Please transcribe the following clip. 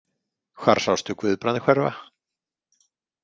Hvar sástu Guðbrand hverfa?